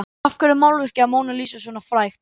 Af hverju er málverkið af Mónu Lísu svona frægt?